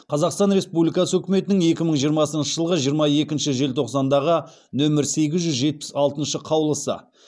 қазақстан республикасы үкіметінің екі мың жиырмасыншы жылғы жиырма екінші желтоқсандағы нөмір сегіз жүз жетпіс алтыншы қаулысы